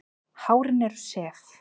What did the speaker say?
Hárin eru sef.